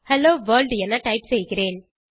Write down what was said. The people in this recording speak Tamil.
ஹெல்லோ வர்ல்ட் என டைப் செய்கிறேன்